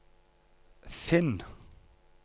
finn